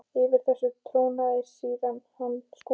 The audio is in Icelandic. Yfir þessu trónaði síðan hann Skúli.